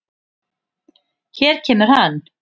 Hér kemur hann.